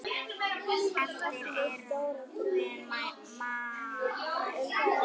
Eftir erum við Maja.